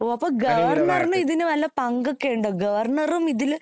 ഓ അപ്പൊ ഗവർണറിനും ഇതിൽവല്ല പങ്കൊക്കെ ഉണ്ടോ ഗവർണറും ഇതിൽ ഉള്‍പ്പെടുന്നുണ്ടോ